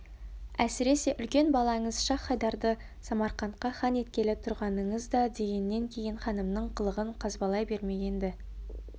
әсіресе үлкен балаңыз шах-хайдарды самарқантқа хан еткелі тұрғаныңыздадегеннен кейін ханымның қылығын қазбалай бермеген-ді